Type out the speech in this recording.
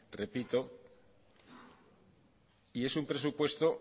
repito y es un presupuesto